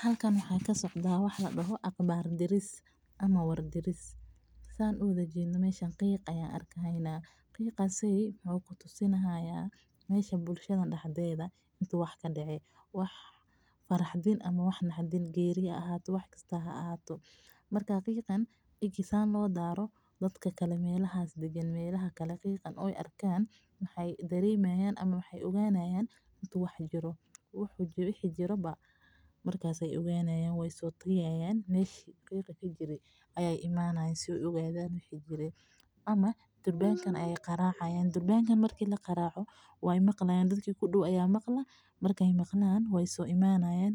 Halkan waxaa kasocdaa wax ladoho war diris, qiiq ayaan arki haayna wuxuu kutusayaa in wax uu dacay, marki ladaaro dadka kale waxeey ogaanayaan in wax dacay ama durbanka ayaa kagaraaci dadka ku dow ayaa maqlayaan waa imanayaan